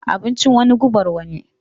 Abincin wani, gubar wani.